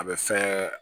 A bɛ fɛn